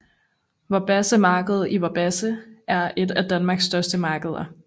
Vorbasse Marked i Vorbasse er et af Danmarks største markeder